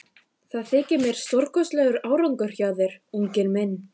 Það þykir mér stórkostlegur árangur hjá þér, unginn minn.